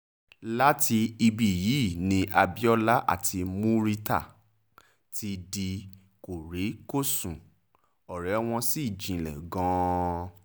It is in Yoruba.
láti ibí yìí ni abiola àti murità ti di kórí-kósùn ọ̀rẹ́ wọn ṣì jinlẹ̀ gan-an